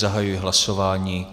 Zahajuji hlasování.